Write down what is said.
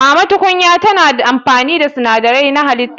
Mama tukunya tana amfani da sinadarai na halitta.